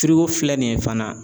filɛ nin ye fana.